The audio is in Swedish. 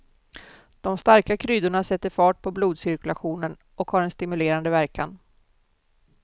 De starka kryddorna sätter fart på blodcirkulationen och har en stimulerande verkan.